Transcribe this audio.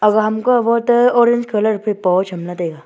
aga ham ka voto orange colour phai poh chamla taiga.